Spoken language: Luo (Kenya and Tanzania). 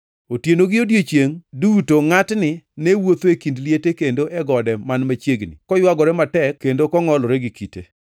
Otieno gi odiechiengʼ duto ngʼatni ne wuotho e kind liete kendo e gode man machiegni koywagore matek kendo kongʼolore gi kite.